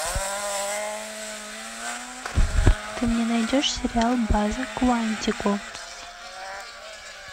ты мне найдешь сериал база куантико